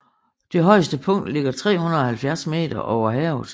Det højeste punkt ligger 370 meter over havet